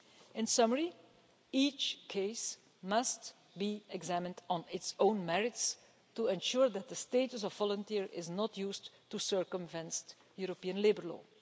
In summary, each case must be examined on its own merits to ensure that the status of volunteer is not used to circumvent European labour law.